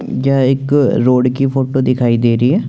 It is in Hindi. यह एक रोड की फोटो दिखाई देरी हैं।